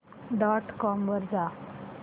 dot com वर जा